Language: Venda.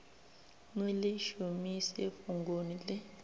ni ḽi shumise fhungoni ḽi